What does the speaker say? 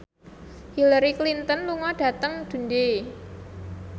Hillary Clinton lunga dhateng Dundee